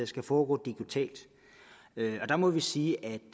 skal foregå digitalt og der må vi sige at